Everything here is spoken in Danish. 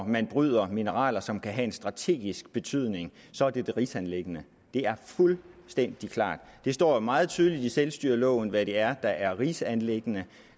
man bryder mineraler som kan have en strategisk betydning så er det et rigsanliggende det er fuldstændig klart det står jo meget tydeligt i selvstyreloven hvad det er der er rigsanliggender